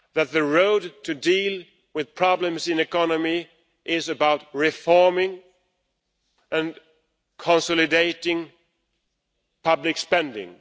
The way to deal with problems in the economy is about reforming and consolidating public spending.